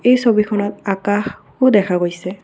এই ছবিখনত আকাশও দেখা গৈছে।